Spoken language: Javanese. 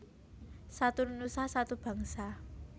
Satu Nusa Satu Bangsa